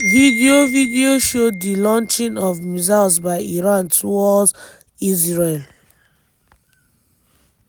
video video show di launching of missiles by iran towards israel.